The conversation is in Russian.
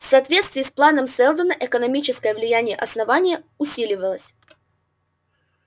в соответствии с планом сэлдона экономическое влияние основания усиливалось